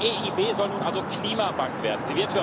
Die EIB soll nun also Klimabank werden.